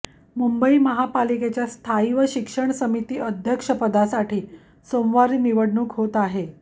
मुंबई महापालिकेच्या स्थायी व शिक्षण समिती अध्यक्षपदासाठी सोमवारी निवडणूक होत आहे